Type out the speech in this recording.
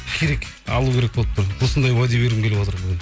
керек алу керек болып тұр осындай уәде бергім келіп отыр бүгін